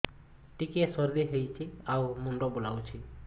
ଟିକିଏ ସର୍ଦ୍ଦି ହେଇଚି ଆଉ ମୁଣ୍ଡ ବୁଲାଉଛି